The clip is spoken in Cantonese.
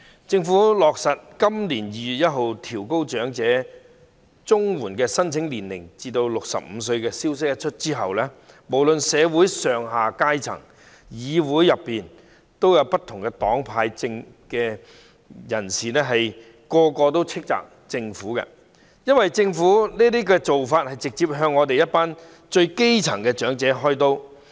政府落實在今年2月1日起將長者綜援的合資格年齡提高至65歲，消息一出，社會上下各階層以及議會內不同黨派的議員無不狠批，因為政府這種做法是直接向一群最基層的長者"開刀"。